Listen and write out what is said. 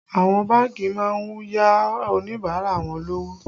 Àwọn bánkì má ń yá Oníbàárà wọn lówó